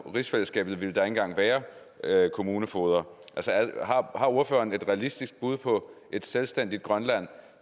rigsfællesskabet ville der ikke engang være kommunefogeder har ordføreren et realistisk bud på et selvstændigt grønland